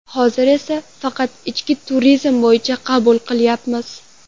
Hozir esa faqat ichki turizm bo‘yicha qabul qilyapmiz.